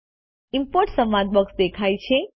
import સંવાદ box દેખાય છે